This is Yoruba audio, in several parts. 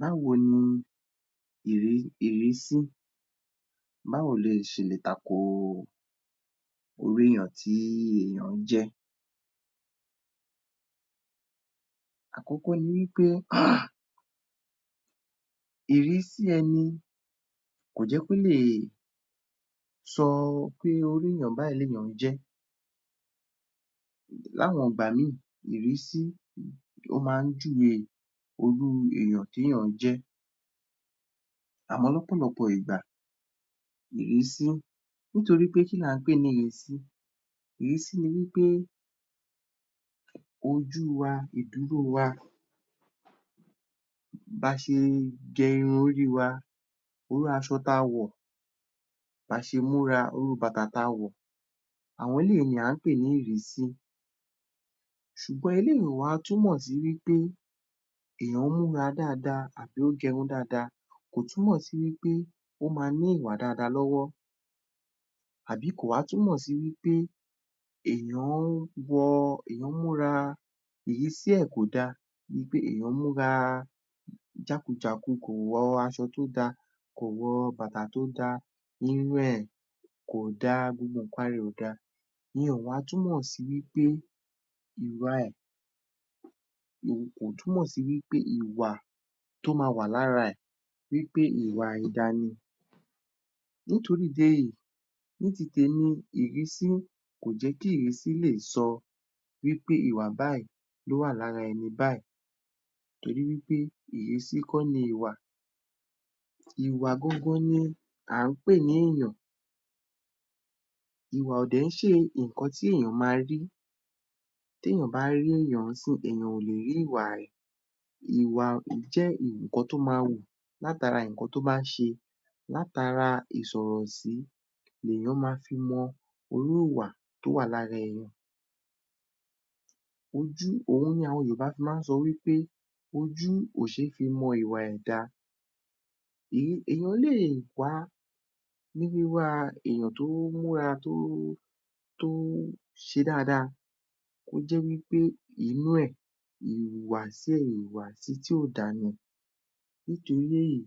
Báwo ni ìrísí, báwo ló ṣe lè takò irú èèyàn tí èèyàn jẹ́? Àkọ́kọ́ ni wí pé, ìrísí ẹni kò jẹ́ kó lè sọ pé irú èèyàn báyìí ni èèyàn jẹ́, l'áwọn ìgbà mìí, ìrísí, ó máa ń júwe irú èèyàn tí èèyàn jẹ́, àmọ́ ní ọ̀pọ̀lọpọ̀ ìgbà, ìrísí, nítorí pé kí ní à ń pè ní ìrísí? Ìrísí ni wí pé ojú wa, ìdúró wa, ba ṣe gẹ irun orí wa, iru aṣọ ta wọ̀, ba ṣe múra, irú bàtà tí a wọ̀, àwọn eléyìí ni à ń pè ní ìrísí. Ṣùgbọ́n eléyìí ò wá túmọ̀ sí wí pé èèyàn múra dáadáa àbí ó gẹ irun dáadáa, kò túmọ̀ sí wí pé, ó máa ní ìwà dáadáa lọ́wọ́ àbí kò wá tú mọ̀ sí wí pé èèyàn wọ, èèyàn múra, ìrísí ẹ̀ kò da, bi pé èèyàn múra jákujáku, kò wọ aṣọ tó da, kò wọ bàtà tó da, irun ẹ̀ kò da, gbogbo ǹnkan ara ẹ̀ kò da, ìyẹn ò wá túmọ̀ sí wí pé ìwà ẹ̀, kò túmọ̀ sí wí pé, ìwà tó máa wà lára ẹ̀, wí pé ìwà àìda ni. Nítorí ìdí èyí, ní ti tèmi, ìrísí kò jẹ́ kí ìrísí lè sọ wí pé ìwà báyìí ló wà lára ẹni báyìí torí wí pé ìrísí kọ́ ni ìwà, ìwà gangan ni à ń pè ní èèyàn, ìwà ò dẹ̀ ń ṣe ǹnkan tí èèyàn máa rí, t'éyàn bá rí èèyàn ní ìsinyìí, èèyàn ò lé rí ìwà rẹ̀. Ìwà jẹ́ ǹnkan tó máa wù látara ǹnkan tó bá ṣe, látara ìsọ̀rọ̀ sí, èèyàn máa fi mọ irú ìwà tó wà lára èèyàn. Ojú, òun ni àwọn Yorùbá fi máa ń sọ wí pé ojú ò ṣe fi mọ ìwà ẹ̀dá, èèyàn lè wá ní wíwá èèyàn tó múra, tó ṣe dáadáa, kó jẹ́ wí pé inú ẹ̀, ìwùwàsí ẹ̀, ìwùwàsí tí ò da ni. Nítorí èyí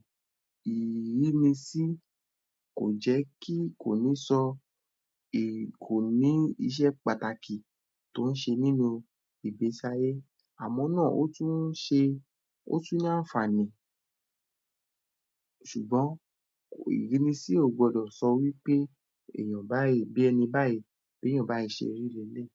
ìrínisí kò jẹ́ kí, kò ní sọ, kò ní iṣẹ́ pàtàkì tó ń ṣe nínú ìgbésí-ayé, àmọ́ náà, ó tún ṣe, ó tún ní àǹfààní ṣùgbọ́n, ìrínisí ò gbọdọ̀ sọ wí pé èèyàn báyìí, bí ẹni, bí èèyàn báyìí ṣe rí leléyìí.